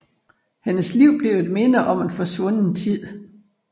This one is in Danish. Hendes liv bliver et minde om en forsvunden tid